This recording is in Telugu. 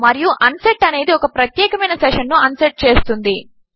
మరియు అన్సెట్ అనేది ఒక ప్రత్యేకమైన సెషన్ ను అన్సెట్ చేస్తుంది